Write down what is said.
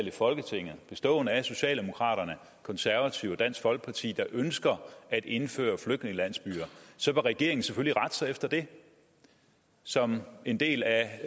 i folketinget bestående af socialdemokraterne konservative og dansk folkeparti der ønsker at indføre flygtningelandsbyer så vil regeringen selvfølgelig rette sig efter det som en del af